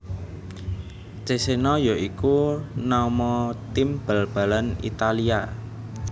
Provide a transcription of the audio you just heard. Cesena ya iku nama tim bal balan Italia